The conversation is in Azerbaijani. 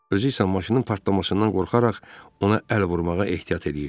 Özü isə maşının partlamasından qorxaraq ona əl vurmağa ehtiyat eləyirdi.